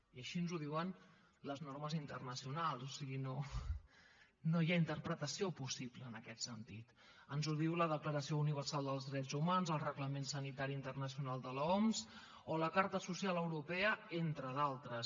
i així ens ho diuen les normes internacionals o sigui no hi ha interpretació possible en aquest sentit ens ho diuen la declaració universal dels drets humans el reglament sanitari internacional de l’oms o la carta social europea entre d’altres